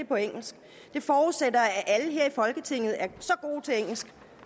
på engelsk det forudsætter at alle her i folketinget er